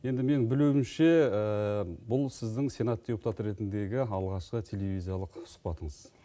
енді мен білуімше бұл сіздің сенат депутаты ретіндегі алғашқы телевизиялық сұхбатыңыз